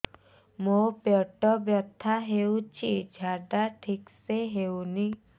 ମୋ ପେଟ ବଥା ହୋଉଛି ଝାଡା ଠିକ ସେ ହେଉନି